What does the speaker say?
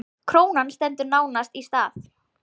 Krónan stendur nánast í stað